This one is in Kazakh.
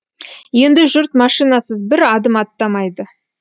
енді жұрт машинасыз бір адым аттамайды